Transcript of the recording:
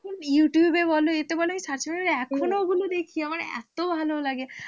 এখন youtube এ বল এতে বল search করে এখনো ওগুলো দেখি আমার এত ভালো লাগে।